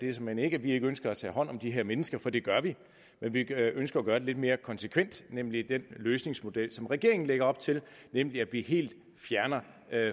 er såmænd ikke at vi ikke ønsker at tage hånd om de her mennesker for det gør vi men vi ønsker at gøre det lidt mere konsekvent nemlig med den løsningsmodel som regeringen lægger op til nemlig at vi helt fjerner